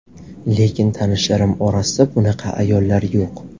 Lekin tanishlarim orasida bunaqa ayollar yo‘q.